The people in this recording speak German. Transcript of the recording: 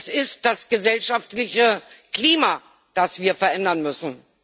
Es ist das gesellschaftliche Klima, das wir verändern müssen.